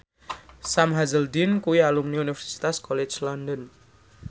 Sam Hazeldine kuwi alumni Universitas College London